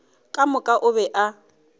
ka moka o be a